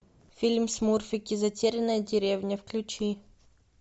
фильм смурфики затерянная деревня включи